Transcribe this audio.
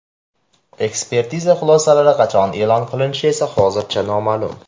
Ekspertiza xulosalari qachon e’lon qilinishi esa hozircha noma’lum.